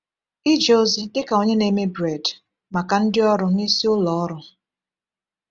Ije ozi dị ka onye na-eme bred maka ndị ọrụ n’isi ụlọ ọrụ.